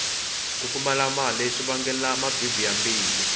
ku pfumala mali swi vangela mabibi ya mbilu